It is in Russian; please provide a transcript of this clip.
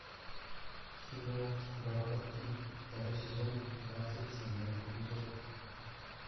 кино во плоти второй сезон двадцать седьмой эпизод